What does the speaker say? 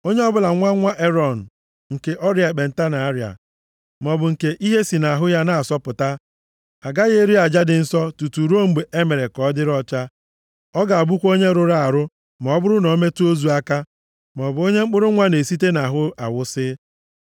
“ ‘Onye ọbụla bụ nwa nwa Erọn nke ọrịa ekpenta na-arịa, maọbụ nke ihe si nʼahụ ya na-asọpụta agaghị eri aja dị nsọ tutu ruo mgbe e mere ka ọ dịrị ọcha. Ọ ga-abụkwa onye rụrụ arụ ma ọ bụrụ na o metụ ozu aka, maọbụ onye mkpụrụ nwa na-esite nʼahụ awụsị,